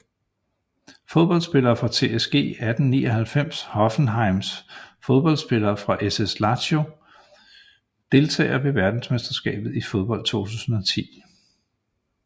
Fodboldspillere fra TSG 1899 Hoffenheim Fodboldspillere fra SS Lazio Deltagere ved verdensmesterskabet i fodbold 2010